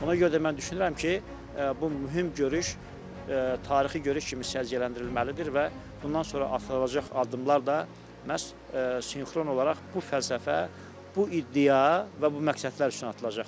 Ona görə də mən düşünürəm ki, bu mühüm görüş tarixi görüş kimi səciyyələndirilməlidir və bundan sonra atılacaq addımlar da məhz sinxron olaraq bu fəlsəfə, bu iddia və bu məqsədlər üçün atılacaqdır.